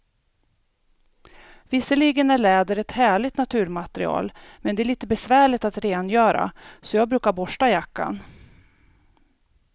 Visserligen är läder ett härligt naturmaterial, men det är lite besvärligt att rengöra, så jag brukar borsta jackan.